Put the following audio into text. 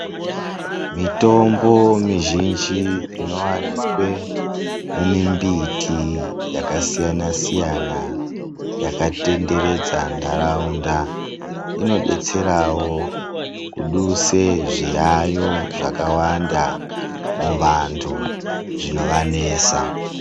Mitombo mizhinji inowanikwe mumumbiti yakasiyana siyana yakatenderedza ndaraunda inodetserawo kuduse zviyayiyo zvakawanda muvantu zvinovanesa.